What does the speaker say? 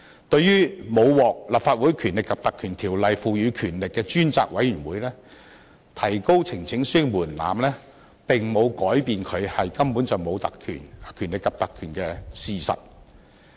對於沒有獲《立法會條例》賦予權力的專責委員會，提高呈請書提交門檻並沒有改變它根本不具權力及特權的事實。